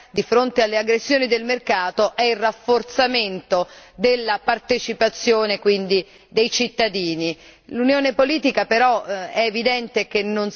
La risposta alle debolezze dell'Unione europea di fronte alle aggressioni del mercato è il rafforzamento della partecipazione dei cittadini.